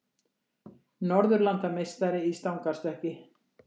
Norðurlandameistari í stangarstökki